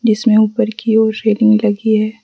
इसमें ऊपर की ओर रेलिंग लगी है।